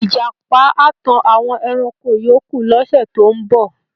Ìjàpá á tan àwọn ẹranko yòókù lọ́sẹ̀ tó ń bọ̀.